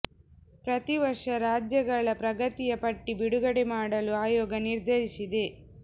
ಪ್ರತೀ ವರ್ಷ ರಾಜ್ಯಗಳ ಪ್ರಗತಿಯ ಪಟ್ಟಿ ಬಿಡುಗಡೆ ಮಾಡಲು ಆಯೋಗ ನಿರ್ಧರಿಸಿದೆ